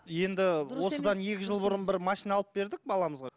енді осыдан екі жыл бұрын бір машина алып бердік баламызға